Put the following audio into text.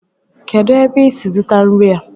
kedu ebe i si zụta nri a?